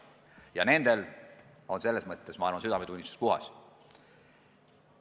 Ja nendel on selles mõttes, ma arvan, südametunnistus puhas.